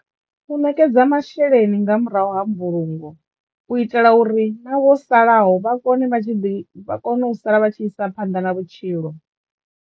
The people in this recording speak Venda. U ṋekedza masheleni nga murahu ha mbulungo u itela uri na vho salaho vha kone vha tshi ḓi vha kono u sala vha tshi isa phanḓa na vhutshilo